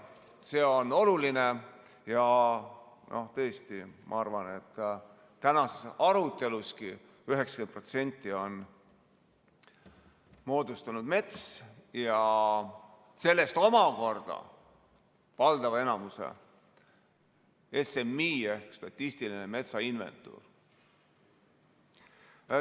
See on oluline ja ma arvan, et tänasest arutelustki 90% on moodustanud metsaga seotu ja sellest omakorda valdava enamuse SMI ehk statistiline metsainventuur.